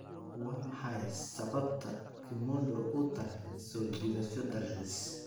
Waa maxay sababta Kimondo u tahay soo jiidasho dalxiis?